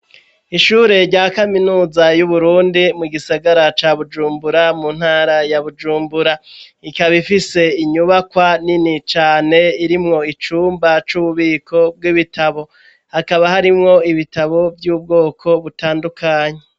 Ishure rya kaminuza y'uburundi mu gisagara ca bujumbura mu ntara ya bujumbura, ikaba ifise inyubakwa nini cane irimwo icumba c'ububiko bw'ibitabo hakaba harimwo ibitabo by'ubwoko butandukanye.